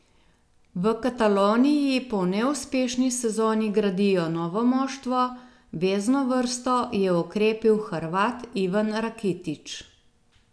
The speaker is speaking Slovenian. V Kataloniji po neuspešni sezoni gradijo novo moštvo, vezno vrsto je okrepil Hrvat Ivan Rakitić.